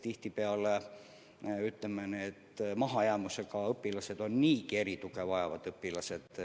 Tihtipeale maha jäänud õpilased on niigi erituge vajavad õpilased.